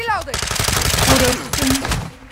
куровским